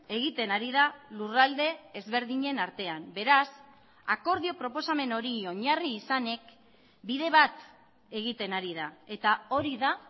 egiten ari da lurralde ezberdinen artean beraz akordio proposamen hori oinarri izanik bide bat egiten ari da eta hori da